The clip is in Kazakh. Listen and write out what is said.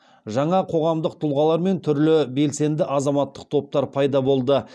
жаңа қоғамдық тұлғалар мен түрлі белсенді азаматтық топтар пайда болды